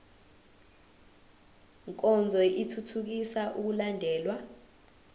nkonzo ithuthukisa ukulandelwa